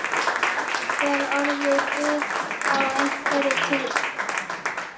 Jafnvel orðið guð á einhverri tíð.